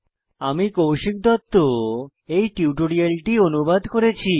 আমি কৌশিক দত্ত এই টিউটোরিয়ালটি অনুবাদ করেছি